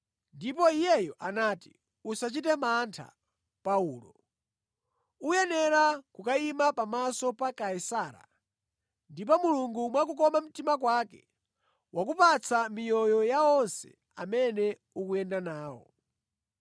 ndipo iyeyu anati, ‘Usachite mantha, Paulo. Ukuyenera kukayima pamaso pa Kaisara; ndipo Mulungu mwa kukoma mtima kwake wakupatsa miyoyo ya anthu onse amene ukuyenda nawo.’